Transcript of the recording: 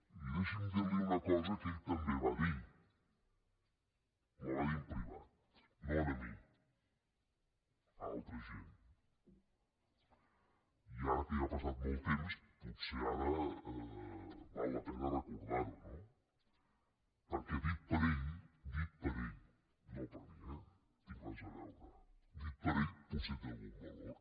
i deixi’m dirli una cosa que ell també va dir la va dir en privat no a mi a altra gent i ara que ja ha passat molt temps potser ara val la pena recordarho no perquè dit per ell dit per ell no per mi eh no hi tinc res a veure potser té algun valor